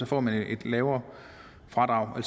får man et lavere fradrag